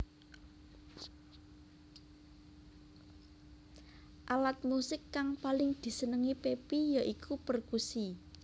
Alat musik kang paling disenengi Pepi ya iku perkusi